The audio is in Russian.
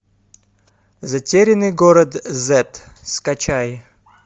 затерянный город зет скачай